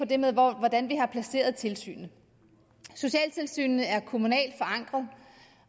det med hvordan vi har placeret tilsynet socialtilsynene er kommunalt forankret